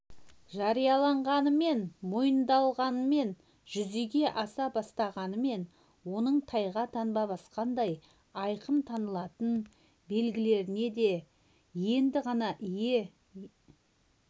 жарияланғанымен мойындалғанымен жүзеге аса бастағанымен оның тайға таңба басқандай айқын танылатын белгілеріне енді ғана ие